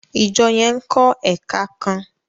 ìjọ yén nkó èka kán.